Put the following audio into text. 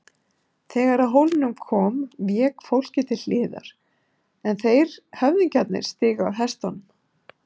Þegar að hólnum kom vék fólkið til hliðar en þeir höfðingjarnir stigu af hestunum.